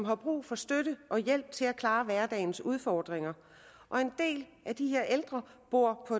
har brug for støtte og hjælp til at kunne klare hverdagens udfordringer og en del af de her ældre bor på